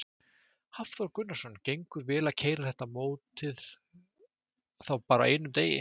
Hafþór Gunnarsson: Gengur vel að keyra þetta mótið þá bara á einum degi?